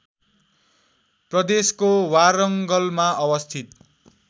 प्रदेशको वारङ्गलमा अवस्थित